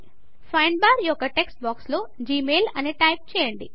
find bar యొక్క text బాక్స్లో Gmail అని టైప్ చేయండి